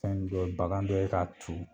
Fɛn bɛ bagan bɛ k'a tu